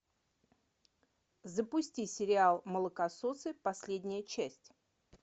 запусти сериал молокососы последняя часть